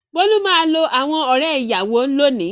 Bólú máa lo àwọn ọ̀rẹ́-ìyàwó lónìí.